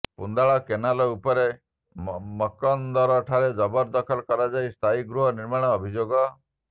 Pundal canal ଉପରେ ମକନ୍ଦର ଠାରେ ଜବରଦଖଲ କରାଯାଇ ସ୍ଥାୟୀ ଗୃହ ନିର୍ମାଣ ଅଭିଯୋଗ